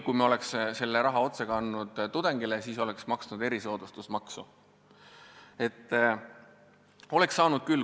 Kui me oleks selle raha kandnud otse tudengile, siis me oleks maksnud erisoodustusmaksu.